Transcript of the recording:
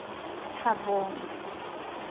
thabong